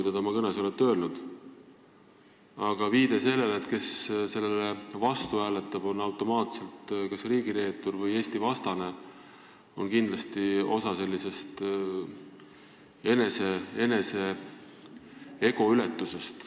Aga viide, et automaatselt on kas riigireetur või Eesti-vastane see, kes sellele eelnõule vastu hääletab, on kindlasti osa enese ego upitamisest.